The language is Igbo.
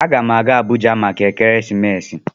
A gam aga Abuja maka ekeresimesi.